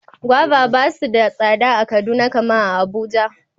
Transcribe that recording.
Gwaiva basu da tsada a kaduna kaman Abuja.